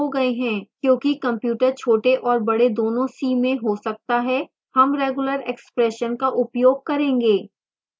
क्योंकि computers छोटे और बडे दोनों c में हो सकता है हम regular expression का उपयोग करेंगे